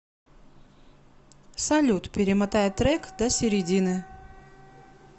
салют перемотай трек до середины